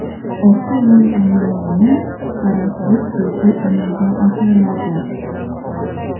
orqa yon oynalarini qoraytirish bepul amalga oshiriladi;.